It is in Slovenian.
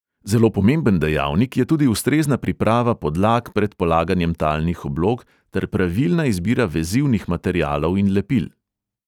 Zelo pomemben dejavnik je tudi ustrezna priprava podlag pred polaganjem talnih oblog ter pravilna izbira vezivnih materialov in lepil.